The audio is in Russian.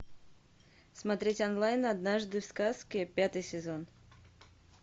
смотреть онлайн однажды в сказке пятый сезон